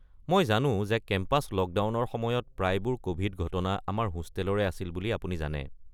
মই জানো যে কেম্পাছ লকডাউনৰ সময়ত প্ৰায়বোৰ ক’ভিড ঘটনা আমাৰ হোষ্টেলৰে আছিল বুলি আপুনি জানে।